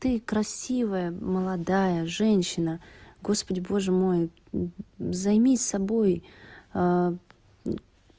ты красивая молодая женщина господи боже мой займись собой